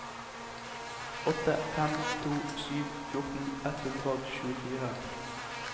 åtte fem to sju fjorten ett hundre og tjuefire